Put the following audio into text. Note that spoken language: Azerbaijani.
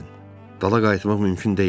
Dala qayıtmaq mümkün deyildi.